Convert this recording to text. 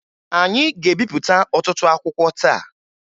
Anyị ga-ebipụta ọtụtụ akwụkwọ taa